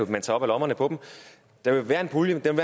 man tager op af lommerne på dem der vil være en pulje den